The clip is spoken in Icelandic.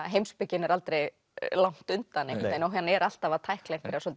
heimspekin er aldrei langt undan og hann er alltaf að tækla einhverjar